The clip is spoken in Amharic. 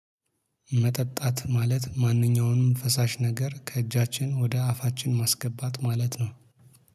መጠጣት ማለት ማንኛውንም ፈሳሽ ነገር ከእጃችን ወደ አፋችን ማስገባት ማለት ነው